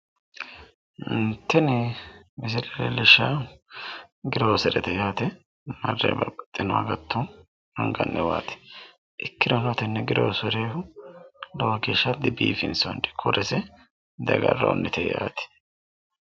Tini misile leelishawohu groserete yaate. Marre babbaxxino agatto anganniwaati. ikkirono tenne girosere dibiifinsoonni. Korese di agarroonnite yaate.